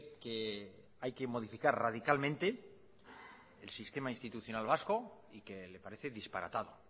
que hay que modificar radicalmente el sistema institucional vasco y que le parece disparatado